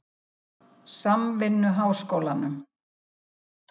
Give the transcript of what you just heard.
Samvinnuháskólanum